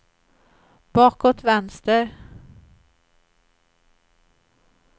bakåt vänster